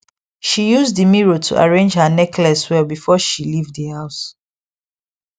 she use the mirror to arrange her necklace well before she leave the house